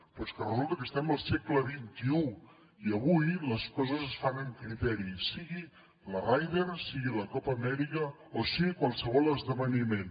però és que resulta que estem al segle xxi i avui les coses es fan amb criteri sigui la ryder sigui la copa amèrica o sigui qualsevol esdeveniment